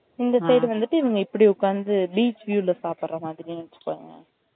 இந்த side வந்துட்டு இவ்வுங்க இப்டி உக்காந்து beach view ல சாப்டுற மாதிரி வச்சிருந்தாங்க